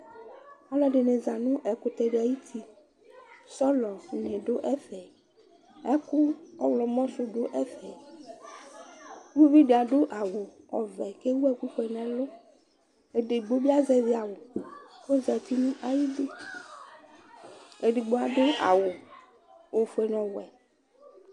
aloɛdini za no ɛkutɛ di ayiti sɔlɔ di ni do ɛfɛ ɛkò ɔwlɔmɔ sò do ɛfɛ uvi di ado awu ɔvɛ k'ewu ɛkò fue n'ɛlu edigbo bi azɛvi awu k'ozati n'ayidu edigbo ado awu ofue n'ɔwɛ